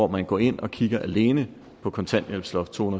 man går ind og kigger alene på kontanthjælpsloft to